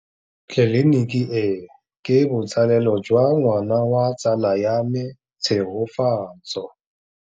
Tleliniki e, ke botsalêlô jwa ngwana wa tsala ya me Tshegofatso.